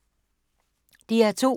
DR2